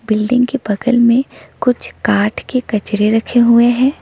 Building के बगल में कुछ काट के कचरे रखे हुए हैं।